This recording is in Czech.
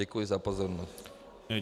Děkuji za pozornost.